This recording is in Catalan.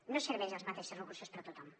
no serveixen els mateixos recursos per a tothom